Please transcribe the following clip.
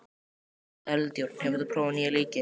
Eldjárn, hefur þú prófað nýja leikinn?